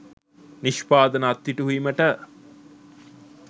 නිෂ්පාදන අත්හිටුවීමට